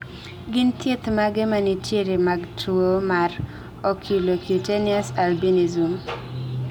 gin thieth mage manitie mag tuwo mar oculocutaneous albinism?